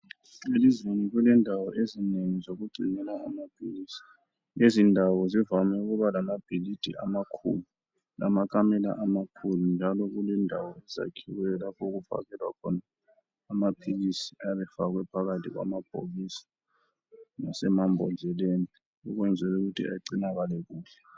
Elizweni kulezindawo ezinengi zokugcinela amaphilisi, lezindawo zivame ukuba lama bhilidi amakhulu lamakamela amakhulu njalo kulendawo ezakhiweyo lapho okufakelwa khona amaphilisi ayabe efakwe phakathi kwamabhokisi lasemambodleleni okwenzela ukuthi agcinakale kuhle ?